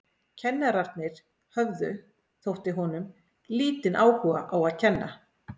Kennararnir höfðu, þótti honum, lítinn áhuga á að kenna.